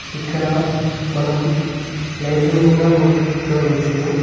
ఇక్కడ మనం లైట్లను కూడా కొంచెం చూడవచ్చును